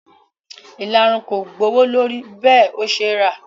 Ìlarun kò gbowó lórí bẹ́ẹ̀ ó ṣe rà